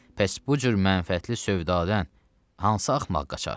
Bəs bu cür mənfəətli sövdadan hansı axmaq qaçar?